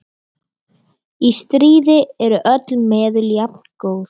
Í stríði eru öll meðul jafngóð.